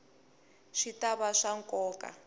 swi ta va swa nkoka